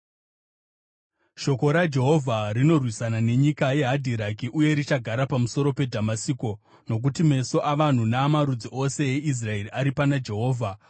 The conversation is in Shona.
Shoko raJehovha rinorwisana nenyika yeHadhiraki uye richagara pamusoro peDhamasiko, nokuti meso avanhu naamarudzi ose eIsraeri ari pana Jehovha,